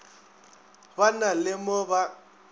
ba na le mo ba